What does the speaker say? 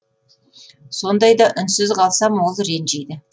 сондайда үнсіз қалсам ол ренжиді